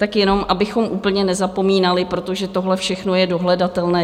Tak jen abychom úplně nezapomínali, protože tohle všechno je dohledatelné.